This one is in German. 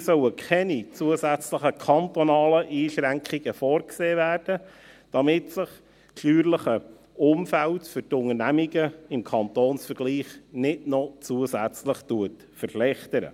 Hier sollen keine zusätzlichen kantonalen Einschränkungen vorgesehen werden, damit sich das steuerliche Umfeld für die Unternehmungen im Kantonsvergleich nicht noch zusätzlich verschlechtert.